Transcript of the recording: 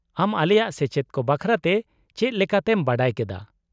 -ᱟᱢ ᱟᱞᱮᱭᱟᱜ ᱥᱮᱪᱮᱫ ᱠᱚ ᱵᱟᱠᱷᱨᱟᱛᱮ ᱪᱮᱫ ᱞᱮᱠᱟᱛᱮᱢ ᱵᱟᱰᱟᱭ ᱠᱮᱫᱟ ?